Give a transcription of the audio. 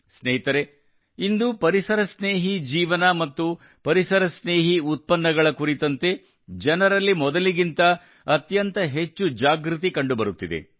ಸ್ನೇಹಿತರೇ ಇಂದು ಪರಿಸರ ಸ್ನೇಹಿ ಜೀವನ ಮತ್ತು ಪರಿಸರ ಸ್ನೇಹಿ ಉತ್ಪನ್ನಗಳ ಕುರಿತಂತೆ ಜನರಲ್ಲಿ ಮೊದಲಿಗಿಂತ ಅತ್ಯಂತ ಹೆಚ್ಚು ಜಾಗೃತಿ ಕಂಡುಬರುತ್ತಿದೆ